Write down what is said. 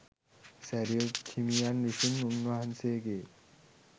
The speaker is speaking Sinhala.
සැරියුත් හිමියන් විසින් උන් වහන්සේගේ